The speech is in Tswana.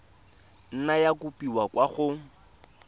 nna ya kopiwa kwa go